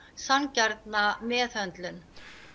sanngjarna meðhöndlun